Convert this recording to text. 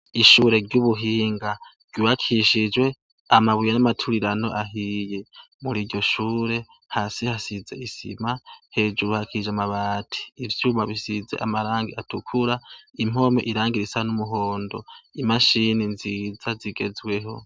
Ishure ry'ubuhinga rwibakishijwe amabuye n'amaturirano ahiye muri iryo shure hasi hasize isima hejuru hakije amabati ivyuma bisize amarangi atukura impome irangira isa n'umuhondo imashini nziza zigezweho.